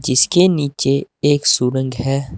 जिसके नीचे एक सुरंग है।